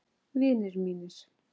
Vinir mínir.